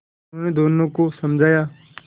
उन्होंने दोनों को समझाया